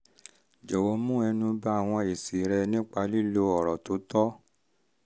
jọ̀wọ́ mẹ́nu ba àwọn èsì rẹ nípa lílo ọ̀rọ̀ tó tọ́